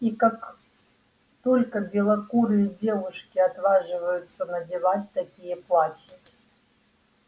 и как только белокурые девушки отваживаются надевать такие платья